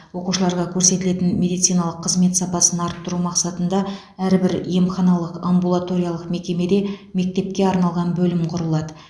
оқушыларға көрсетілетін медициналық қызмет сапасын арттыру мақсатында әрбір емханалық амбулаториялық мекемеде мектепке арналған бөлім құрылады